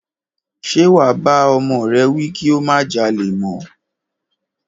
Ṣe wà bá ọmọ rẹ wí kí ó má jalè mọ́?